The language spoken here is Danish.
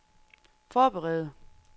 forberede